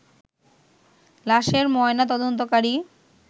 লাশের ময়না তদন্তকারী